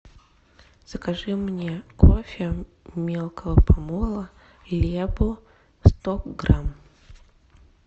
закажи мне кофе мелкого помола лебо сто грамм